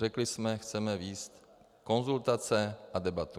Řekli jsme, chceme vést konzultace a debatu.